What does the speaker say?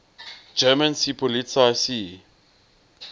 german seepolizei sea